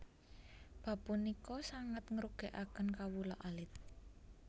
Bab punika sanget ngrugèkaken kawula alit